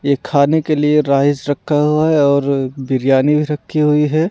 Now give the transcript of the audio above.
ये खाने के लिए राइस रखा हुआ है और बिरयानी भी रखी हुई है।